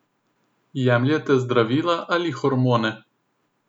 Jemljete zdravila ali hormone?